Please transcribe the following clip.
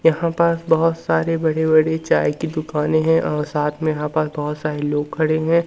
यहां पास बहोत सारे बड़े-बड़े चाय की दुकानें हैं और साथ में यहां पास बहोत सारे लोग खड़े हैं।